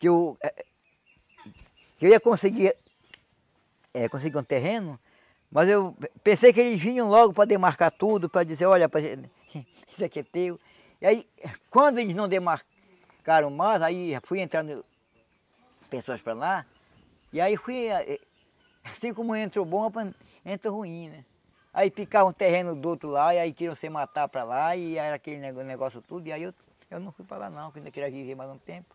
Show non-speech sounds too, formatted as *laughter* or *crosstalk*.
que eu que eu ia conseguir eh conseguir um terreno mas eu pensei que eles vinham logo para demarcar tudo para dizer, olha, isso aqui é teu e aí quando eles não demarcaram mais aí fui entrar no pessoas para lá e aí fui assim como entrou bom, *unintelligible* entrou ruim né aí ficava um terreno do outro lado e aí queriam se matar para lá e era aquele negó negócio tudo e aí eu eu não fui para lá não porque eu queria viver mais um tempo